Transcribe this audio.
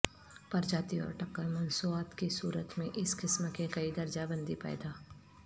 پرجاتیوں اور ٹککر مصنوعات کی صورت میں اس قسم کے کئی درجہ بندی پیدا